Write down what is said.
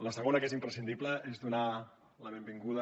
la segona que és imprescindible és donar la benvinguda